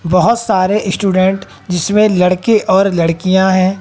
बहोत सारे स्टूडेंट जिसमें लड़के और लड़कियां हैं।